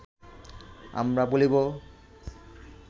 আমরা বলিব